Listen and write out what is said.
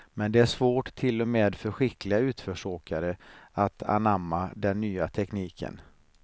Men det är svårt till och med för skickliga utförsåkare att anamma den nya tekniken.